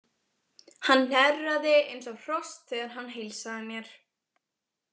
Hann hnerraði eins og hross þegar hann heilsaði mér.